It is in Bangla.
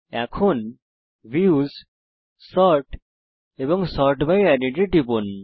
এখন ভিউস সর্ট এবং সর্ট বাই এডেড এ টিপুন